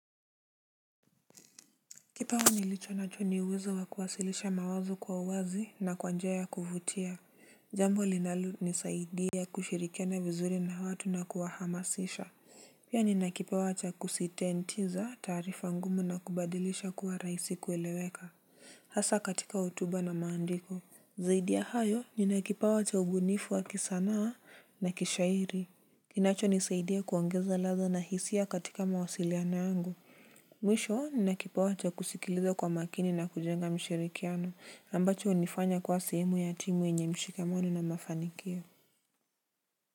Kipawa nilicho nacho ni uwezo wa kuwasilisha mawazo kwa uwazi na kwa njia ya kuvutia. Jambo linalo nisaidia kushirikia na vizuri na watu na kuwahamasisha. Pia nina kipawa cha kusitentiza taarifa ngumu na kubadilisha kuwa raisi kueleweka. Hasa katika hotuba na maandiko. Zaidia hayo nina kipawa cha ubunifu wa kisanaa na kishairi. Kinacho nisaidia kuongeza latha na hisia katika mawasiliano yangu. Mwisho nina kipawa cha kusikiliza kwa makini na kujenga mshirikiano ambacho unifanya kuwa sehemu ya timu yenye mshikamano na mafanikio.